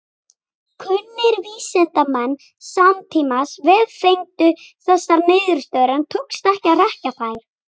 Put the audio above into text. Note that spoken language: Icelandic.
Kunnir vísindamenn samtímans vefengdu þessar niðurstöður en tókst ekki að hrekja þær.